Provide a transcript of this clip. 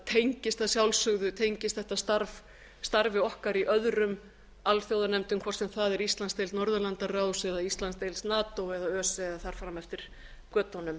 tengist að sjálfsögðu tengist þetta starf starfi okkar í öðrum alþjóðanefndum hvort sem það er íslandsdeild norðurlandaráðs eða íslandsdeild nato eða öse eða þar fram eftir götunum